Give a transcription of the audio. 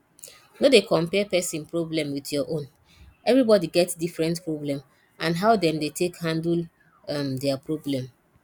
no dey compare person problem with your own everybody get different problem and how dem take dey handle um their problem